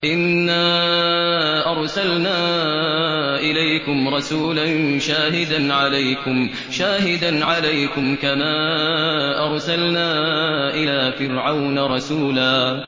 إِنَّا أَرْسَلْنَا إِلَيْكُمْ رَسُولًا شَاهِدًا عَلَيْكُمْ كَمَا أَرْسَلْنَا إِلَىٰ فِرْعَوْنَ رَسُولًا